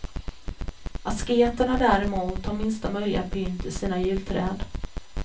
Asketerna däremot har minsta möjliga pynt i sina julträd.